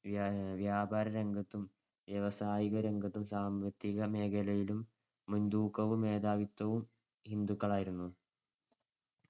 വ്യാപാരരംഗത്തും വ്യവസായികരംഗത്തും സാമ്പത്തികമേഖലയിലും മുൻതൂക്കവും മേധാവിത്വവും ഹിന്ദുക്കളായിരുന്നു.